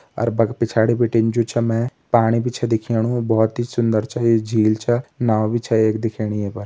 अर बल पिछाड़ी बिटिन जू छ मैं पाणी भी छ दिखेणु बहोत सुन्दर छ ये झील छ नाओ भी छ यख दिखेणी ये पर।